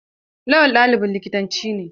Lawal ɗalibin likitanci ne.